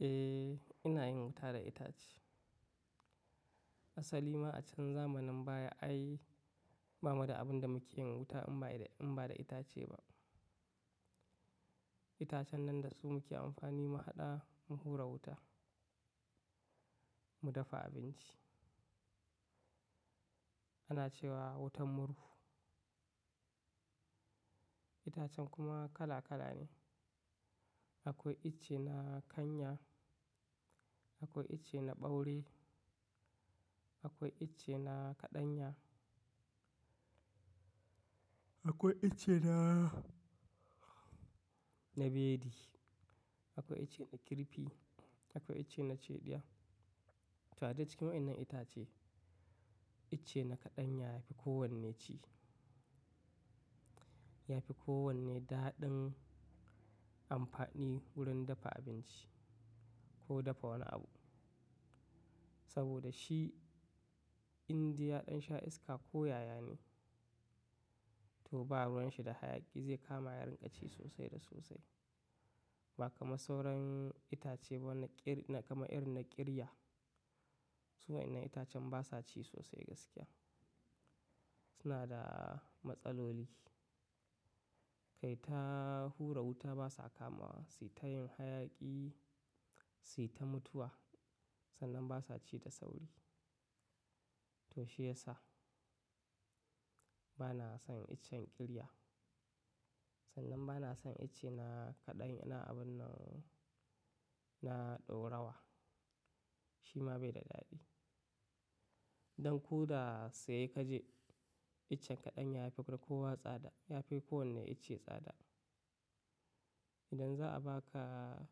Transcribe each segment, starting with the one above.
Eh, ina yin wuta da itace. Asali ma a can zamanin baya ai Ba mu da abin da muke yin wuta in ba da itace ba. Itacen nan da su muke amfani mu haɗa mu hura wuta, mu dafa abinci. Ana cewa wutan murhu. Itacen kuma kala kala ne. Akwai ice na kanya, akwai ice na ɓaure, akwai ice na kaɗanya, akwai ice na bedi, akwai ice na kirfi, akwai ice na cedia. To a cikin waɗannan itace, ice na kaɗanya yafi kowanne ci. Yafi kowanne daɗin amfani wurin dafa abinci ko dafa wani abu. Saboda shi indiya ɗan sha iska ko yaya ne, to ba ruwan shi da hayaƙi zai kama yaren ƙaci sosai da sosai. Ba kamar sauran itace kamar irin na ƙirya. Su waɗannan itacen basa ci sosai gaskiya. Suna da matsaloli. Kai ta hura wuta basa kamawa, su ta yin hayaƙi su ta mutuwa. Sannan basa ci da sauri. To shi yasa bana son icen ƙirya. Sannan bana son ice na abun nan na ɗaurawa. Shi ma bai da daɗi. Don ko da sai ka je icen kaɗanya yafi kowa tsada, yafi kowanne ice tsada. Idan za a baka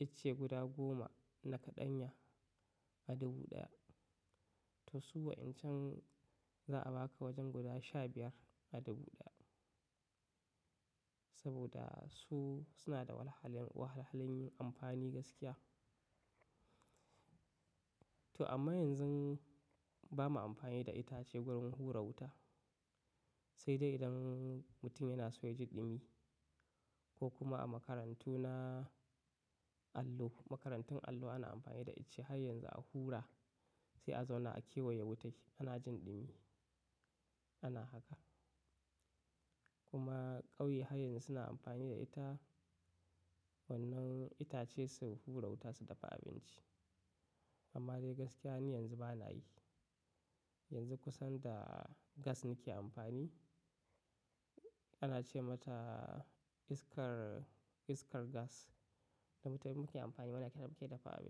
ice guda goma na kaɗanya a dubu ɗaya, to suwa'incan za a baka wajen guda sha biyar a dubu ɗaya. Saboda su suna da wahalhalun amfani gaskiya. To amma yanzu bamu amfani da itace wurin hura wuta. Sai dai idan mutum yana so ya ji ɗumi ko kuma a makarantu na allo. Makarantun allo ana amfani da ice har yanzu a hura sai a zauna a kewaye wutai ana jin ɗumi. Ana haka. Kuma ƙauye har yanzu suna amfani da ita wannan itace su hura wuta su dafa abinci. Amma dai gaskiya ne yanzu bana yi. Yanzu kusan da gas nake amfani. Ana ce mata iskar gas da mutane muke amfani da ita ake dafa abinci.